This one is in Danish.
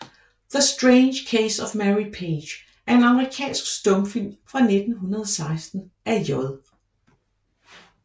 The Strange Case of Mary Page er en amerikansk stumfilm fra 1916 af J